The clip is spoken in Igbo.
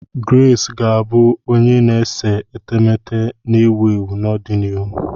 Grace ga-abụ onye na-ese etemeete na-ewu ewu n'ọdịnihu.